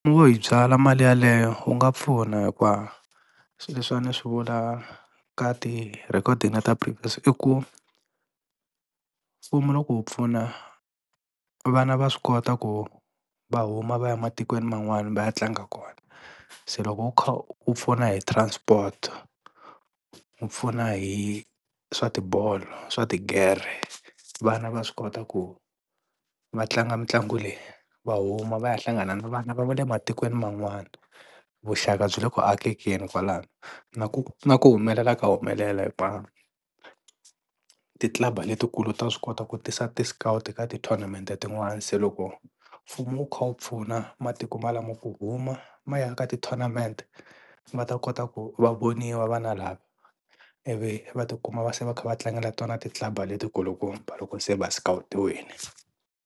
Wo yi byala mali yeleyo wu nga pfuna hikuva swi leswi a ni swi vula ka ti-recording ta previous i ku mfumo loko wu pfuna vana va swi kota ku va huma va ya ematikweni man'wana va ya tlanga kona se loko u kha wu pfuna hi transport, wu pfuna hi swa tibolo swa tigere vana va swi kota ku va tlanga mitlangu leyi va huma va ya hlangana na vana va le matikweni man'wana vuxaka byi le ku akekeni kwalano na ku na ku humelela ka humelela hinkwavo ti-club letikulu ta swi kota ku tisa ti-scout ka ti-tournament tin'wana se loko mfumo wu kha wu pfuna matiko ma lamo ku huma ma ya ka ti-tournament va ta kota ku va voniwa vana lava i vi va tikuma va se va kha va tlangela tona ti-club letikulu kumba loko se va scout-iwile.